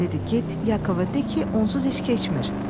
dedi, get Yakova de ki, onsuz heç keçmir.